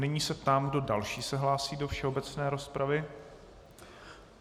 Nyní se ptám, kdo další se hlásí do všeobecné rozpravy.